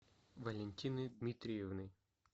валентины дмитриевны